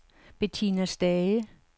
Betina Stage